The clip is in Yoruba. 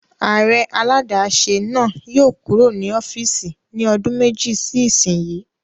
Ààrẹ aládàáṣe náà yóò kúrò ní ọ́fìsì ní ọdún méjì sí ìsínyi